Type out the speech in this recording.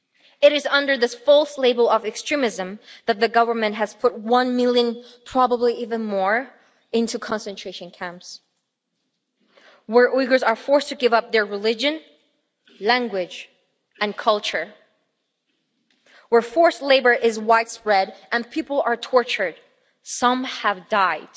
It is under this false label of extremism that the Government has put one million people probably even more into concentration camps, where Uyghurs are forced to give up their religion, language and culture, where forced labour is widespread and people are tortured. Some have died.